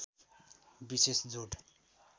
विशेष जोड